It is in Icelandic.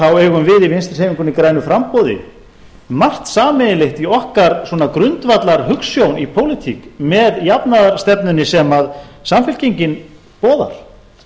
þá eigum við í vinstri hreyfingunni grænu framboði margt sameiginlegt í okkar grundvallarhugsjón í pólitík með jafnaðarstefnunni sem samfylkingin boðar